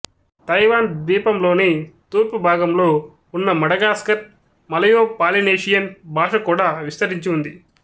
Taiwan ద్వీపంలోని తూర్పు భాగంలో ఉన్న మడగాస్కర్ మలయోపాలినేషియన్ భాష కూడా విస్తరించి ఉంది